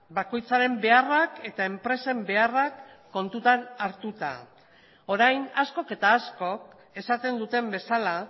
bakoitzaren beharrak eta enpresen beharrak kontutan hartuta orain askok eta askok esaten duten bezala